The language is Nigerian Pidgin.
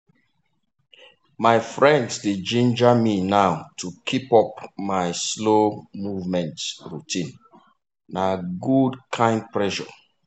my friends dey ginger me now to keep up my slow movement routine na good kind pressure.